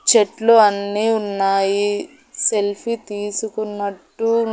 చెట్లు అన్నీ ఉన్నాయి సెల్ఫీ తీసుకున్నట్టు.